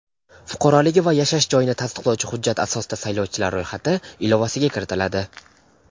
fuqaroligi va yashash joyini tasdiqlovchi hujjat asosida saylovchilar ro‘yxati ilovasiga kiritiladi.